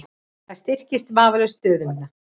Það styrkir vafalaust stöðu mína.